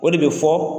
O de bɛ fɔ